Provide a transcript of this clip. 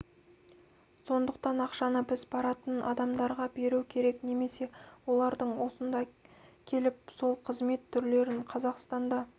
сондықтан ақшаны біз баратын адамдарға беру керек немесе олардын осында келіп сол қызмет түрлерін қазақстанда